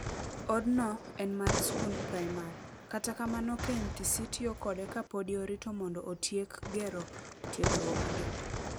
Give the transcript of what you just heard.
Od no en mar skund primar. Kata kamano KMTC tiyo kode kapodi orito mondo otiek gero kar tiegruok gi.